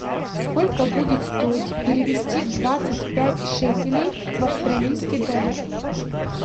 сколько будет стоить перевести двадцать пять шекелей в австралийский доллар